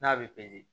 N'a bɛ